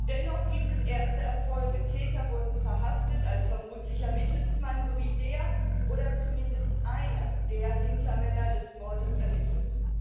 Dennoch gibt es erste Erfolge Täter wurden verhaftet, ein vermutlicher Mittelsmann sowie der oder zumindest einer der Hintermänner des Mordes ermittelt.